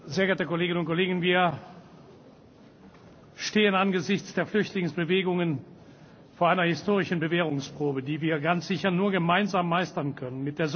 Meine Damen und Herren, sehr geehrte Kolleginnen und Kollegen! Wir stehen angesichts der Flüchtlingsbewegungen vor einer historischen Bewährungsprobe, die wir ganz sicher nur gemeinsam meistern können.